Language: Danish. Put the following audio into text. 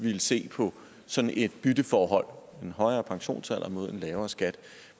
ville se på sådan et bytteforhold en højere pensionsalder mod en lavere skat